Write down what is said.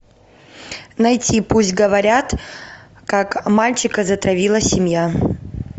найти пусть говорят как мальчика затравила семья